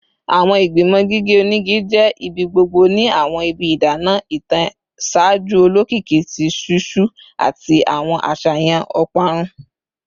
Awọn igbimọ gige onigi jẹ ibigbogbo ni awọn ibi idana itan ṣaaju olokiki ti ṣiṣu ati awọn aṣayan oparun